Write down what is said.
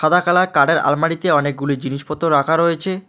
সাদা কালার কাঠের আলমারিতে অনেকগুলি জিনিসপত্র রাখা রয়েচে।